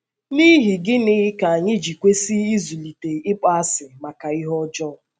N’ihi gịnị ka anyị ji kwesị ịzụlite ịkpọasị maka ihe ọjọọ?